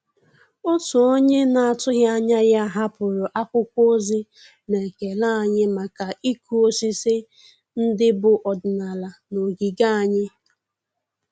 Òtù ónyé nà-àtụ́ghị́ ányà yá hàpụ́rụ̀ ákwụ́kwọ́ ózì nà-ékélé ànyị́ màkà ị́kụ́ ósísí ndị́ bù ọ́dị́nàlà nà ògígè ànyị́.